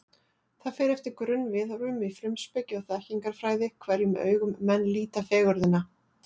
Það fer eftir grunnviðhorfum í frumspeki og þekkingarfræði, hverjum augum menn líta fegurðina.